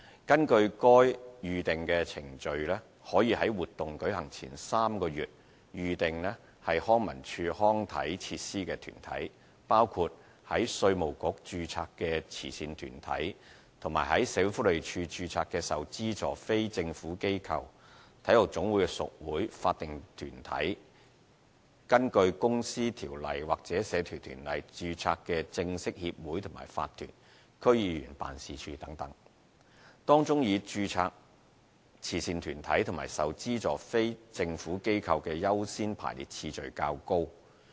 根據該《預訂程序》，可以在活動舉行前3個月預訂康文署康體設施的團體，包括在稅務局註冊的慈善團體及在社會福利署註冊的受資助非政府機構、體育總會的屬會、法定團體、根據《公司條例》或《社團條例》註冊的正式協會和法團、區議員辦事處等，當中以註冊慈善團體及受資助非政府機構的優先排列次序較高。